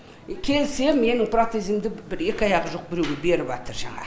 келсем менің протезімді екі аяғы жоқ біреуге беріп жатыр жаңа